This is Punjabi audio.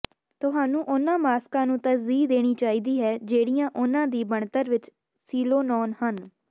ਤੁਹਾਨੂੰ ਉਨ੍ਹਾਂ ਮਾਸਕਾਂ ਨੂੰ ਤਰਜੀਹ ਦੇਣੀ ਚਾਹੀਦੀ ਹੈ ਜਿਹੜੀਆਂ ਉਨ੍ਹਾਂ ਦੀ ਬਣਤਰ ਵਿੱਚ ਸੀਲੀਨੋਨ ਹਨ